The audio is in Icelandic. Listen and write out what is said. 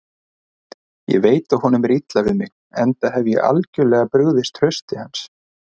Ég veit að honum er illa við mig, enda hef ég algjörlega brugðist trausti hans.